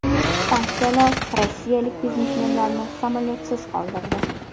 Sanksiyalar rossiyalik biznesmenlarni samolyotsiz qoldirdi.